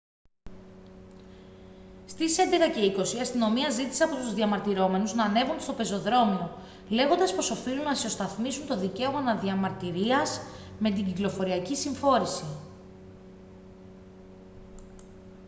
στις 11:20 η αστυνομία ζήτησε από τους διαμαρτυρόμενους να ανέβουν στο πεζοδρόμιο λέγοντας πως οφείλουν να ισοσταθμίσουν το δικαίωμα να διαμαρτυρίας με την κυκλοφοριακή συμφόρηση